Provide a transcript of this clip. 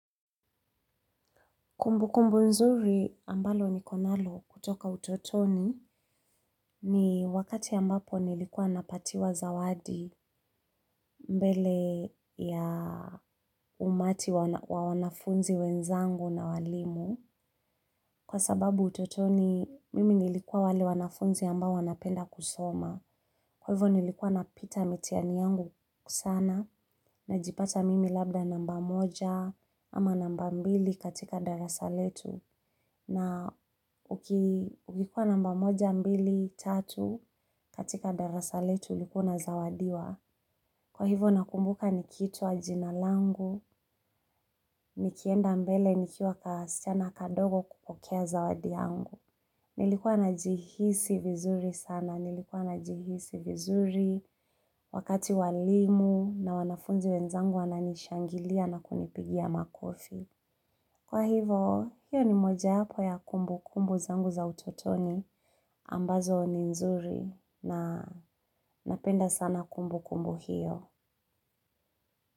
Kumbukumbu nzuri ambalo nikonalo kutoka utotoni ni wakati ambapo nilikuwa napatiwa zawadi mbele ya umati wa wanafunzi wenzangu na walimu. Kwa sababu utotoni mimi nilikuwa wale wanafunzi ambao wanapenda kusoma. Kwa hivyo nilikuwa napita mitihani yangu sana najipata mimi labda namba moja ama namba mbili katika darasa letu. Na ukikuwa namba moja, mbili, tatu katika darasa letu ulikuwa unazawadiwa. Kwa hivyo nakumbuka nikiitwa jina langu, nikienda mbele nikiwa kasichana kadogo kupokea zawadi yangu. Nilikuwa najihisi vizuri sana, nilikuwa najihisi vizuri wakati walimu na wanafunzi wenzangu wananishangilia na kunipigia makofi. Kwa hivo, hiyo ni mojawapo ya kumbukumbu zangu za utotoni ambazo ni nzuri na napenda sana kumbukumbu hio.